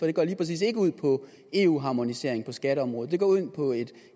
det går lige præcis ikke ud på eu harmonisering på skatteområdet det går ud på et